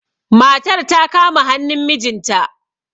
matar ta kama hannun mijinta